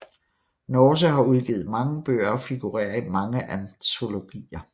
Norse har udgivet mange bøger og figurerer i mange antologier